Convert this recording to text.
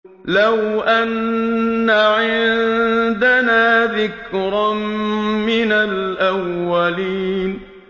لَوْ أَنَّ عِندَنَا ذِكْرًا مِّنَ الْأَوَّلِينَ